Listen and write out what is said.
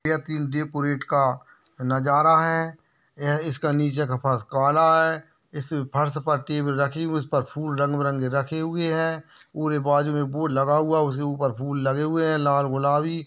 यह तीन डेकोरेटका नजारा है। यह इसका नीचे फर्श काला है। इस फर्श पर टेबल रखी हुई उसपर फूल रंगबीरंगे रखे हुए है। पूरे बाजुमे बोर्ड लगा हुआ उसके उपर फूल लगे हुए है लाल गुलाबी।